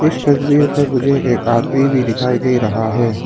इस तस्वीर में मुझे एक आदमी भी दिखाई दे रहा है।